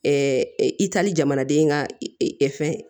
itali jamanaden ka fɛn